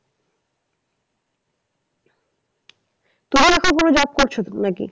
তোমার একার জন্য job করছো তো নাকি?